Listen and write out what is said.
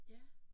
Ja